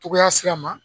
Cogoya sira ma